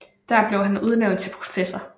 Der blev han udnævnt til professor